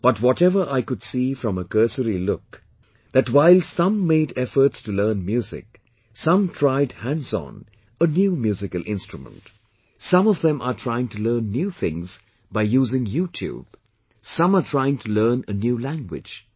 But whatever I could see from a cursory look that while some made efforts to learn music, some tried hands on a new musical instrument, some of them are trying to learn new things by using YouTube, some are trying to learn a new language